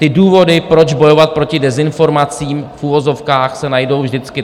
Ty důvody, proč bojovat proti dezinformacím v uvozovkách, se najdou vždycky.